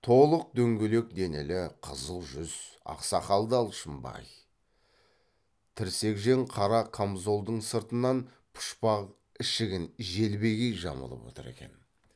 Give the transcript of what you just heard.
толық дөңгелек денелі қызыл жүз ақ сақалды алшынбай тірсекжең қара қамзолдың сыртынан пұшпақ ішігін желбегей жамылып отыр екен